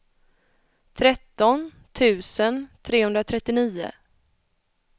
tretton tusen trehundratrettionio